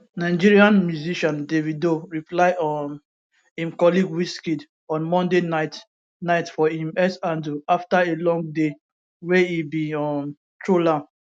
nigerian musician davido reply um im colleague wizkid on monday night night for im x handle afta a long day wey e bin um troll am